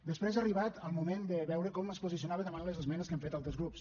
després ha arribat el moment de veure com es posicionava davant les esmenes que han fet altres grups